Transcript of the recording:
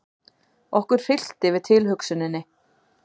Okkur hryllti við tilhugsuninni.